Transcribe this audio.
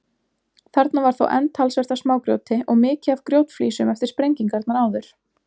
Þarna var þá enn talsvert af smágrjóti og mikið af grjótflísum eftir sprengingarnar áður.